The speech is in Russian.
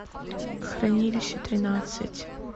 хранилище тринадцать